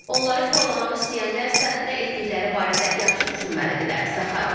Onları korlamaq istəyənlər isə nə etdikləri barədə yaxşı düşünməlidirlər, Zaxarova deyib.